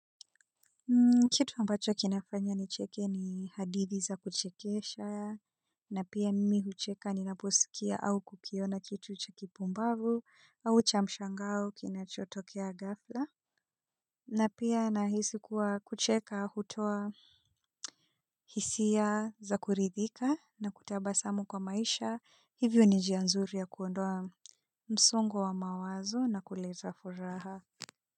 Kitu ambacho kinafanya nicheke ni hadithi za kuchekesha na pia mimi hucheka ninaposikia au kukiona kitu cha kipumbavu au cha mshangao kinachotokea ghafla. Na pia nahisi kuwa kucheka hutoa hisia za kuridhika na kutabasamu kwa maisha hivyo ni njia nzuri ya kuondoa msongo wa mawazo na kuleta furaha.